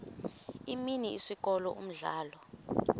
imini isikolo umdlalo